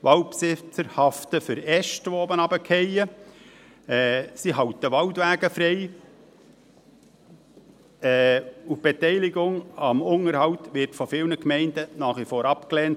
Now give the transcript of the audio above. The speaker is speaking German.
Waldbesitzer haften für Äste, die herunterfallen, sie halten Waldwege frei, und die Beteiligung am Unterhalt wird von vielen Gemeinden nach wie vor abgelehnt;